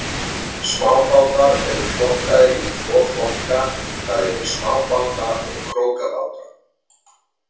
Smábátar eru flokkaðir í tvo flokka, það er í smábáta og krókabáta.